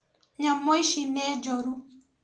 Nyamũ ici nĩ njũru